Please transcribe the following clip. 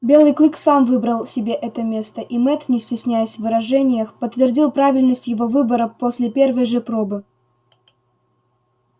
белый клык сам выбрал себе это место и мэтт не стесняясь в выражениях подтвердил правильность его выбора после первой же пробы